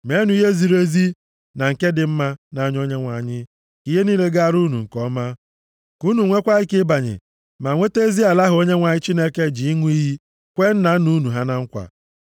Meenụ ihe ziri ezi, na nke dị mma nʼanya Onyenwe anyị, ka ihe niile gaara unu nke ọma, ka unu nweekwa ike ịbanye, ma nweta ezi ala ahụ Onyenwe anyị ji ịṅụ iyi kwee nna nna unu ha na nkwa.